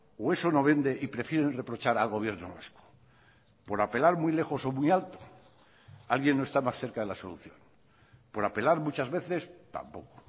o eso no vende y prefieren reprochar al gobierno vasco por apelar muy lejos o muy alto alguien no está más cerca de la solución por apelar muchas veces tampoco